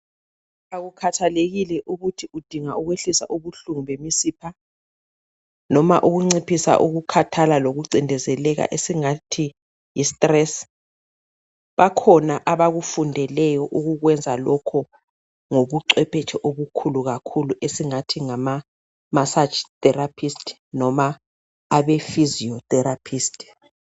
Akukhathekile ukuthi udinga ukwehlisa ubuhlungu bemisipha noma ukunciphisa ukukhathala lokucindezelkala esingathi yi- stress bakhona akufundeleyo ukukwenza lokho ngobucwephethe obukhulu kakhulu esingathi ngama massage therapist noma abe-physio therapist